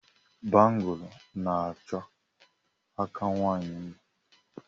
Bangụlu na-achọ aka nwaanyị mma.